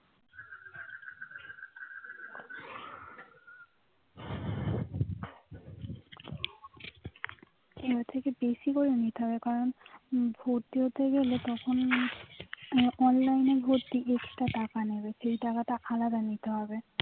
বেশি করে নিতে হবে কারণ ভর্তি হতে গেলে তখন অনলাইন online এ ভর্তি extra টাকা নেবে সেই টাকা তা আলাদা নিতে হবে